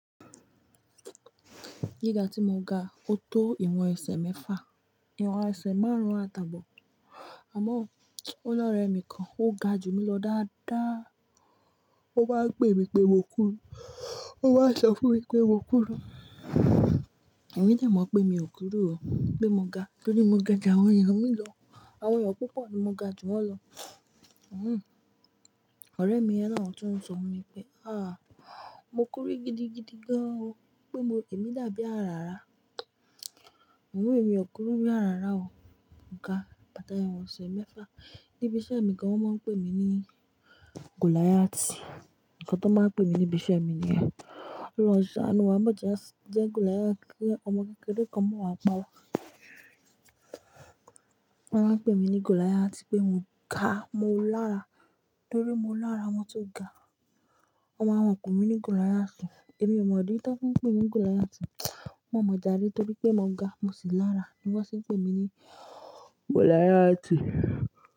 Gíga tí mo ga, ó tó ìwọ̀n ẹsẹ̀ mẹ́fà, ìwọ̀n ẹsẹ̀ márùn-ún àtàbọ̀, àmọ́ ọlọ́rẹ̀ mi kan ó ga jù mí lọ dáadáa. Ó bá pè mí pé mo kúrú, ó wá sọ fún mi pé mo kúrú Èmi dà mọ̀ pé mi ò kúrú o pé mo ga nítorí mo ga ju àwọn èèyàn mi lọ. Àwọn ènìyàn púpọ̀ ni mo ga ju wọ́n lọ. Hhm. Ọ̀rẹ́ mi yẹn náà ló tún ń sọ wí pé, àh! Mo kúrú gidigidi gan o pé mo èmi dàbí àràrá. Àmọ́ mi ò kúrú bí àràrá o. Mo ga bàtà ìwọ̀n ẹsẹ̀ mẹ́fà. Níbi iṣẹ́ mi ni wọ́n máa ń pè mí ní Goliath. Ǹkan tó máa ń pè mí níbi iṣẹ́ mi ni yẹn. Kí ọlọ́hun s'aanu wa, máa jẹ́ Goliath kí ọmọ kékeré kan máa wá pa wa. Wọ́n máa ń pè mí ní Goliath pé mo ga, mo lára nítorí mo lára wọn tó ga. Wọ́n máa wá pè mi ní Goliath. Èmi ò mọ ìdí tí wọ́n fín pè mí Goliath. Wọn mọ̀ jarí torí pé mo ga mo sì lára ni wọ́n sì ń pè mí ní Goliath.